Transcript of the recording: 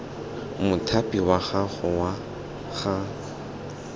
mothapi wa gago wa ga